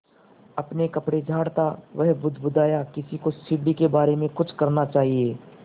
अपने कपड़े झाड़ता वह बुदबुदाया किसी को सीढ़ी के बारे में कुछ करना चाहिए